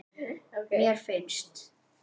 mér finnst